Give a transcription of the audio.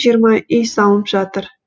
жиырма үй салынып жатыр